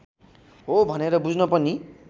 हो भनेर बुझ्न पनि